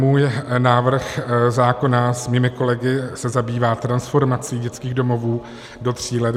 Můj návrh zákona s mými kolegy se zabývá transformací dětských domovů do tří let.